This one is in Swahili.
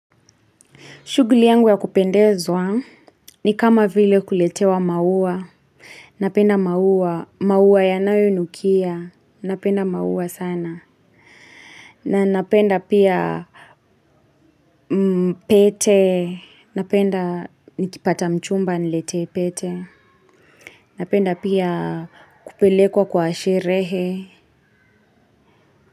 Shughuli yangu ya kupendezwa ni kama vile kuletewa maua. Napenda maua. Maua yanayonukia. Napenda mauwa sana. Na napenda pia pete. Napenda nikipata mchumba aniletee pete. Napenda pia kupelekwa kwa sherehe.